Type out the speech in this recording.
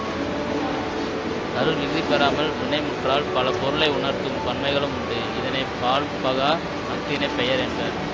கள்விகுதி பெறாமல் வினைமுற்றால் பலபொருளை உணர்த்தும் பன்மைகளும் உண்டு இதனை பால்பகா அஃறிணைப் பெயர் என்பர்